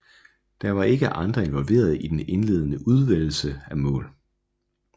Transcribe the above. Der var ikke andre involveret i den indledende udvælgelse af mål